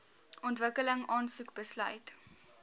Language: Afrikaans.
ontwikkeling aansoek besluit